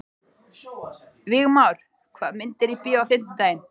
Vígmar, hvaða myndir eru í bíó á fimmtudaginn?